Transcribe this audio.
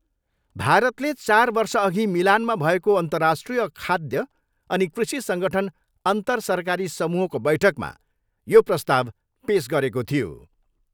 भारतले चार वर्षअघि मिलानमा भएको अन्तर्राष्ट्रिय खाद्य अनि कृषि सङ्गठन अन्तरसरकारी समूहको बैठकमा यो प्रस्ताव पेस गरेको थियो।